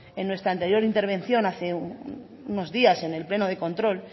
en nuestra anterior intervención hace unos días en el pleno de control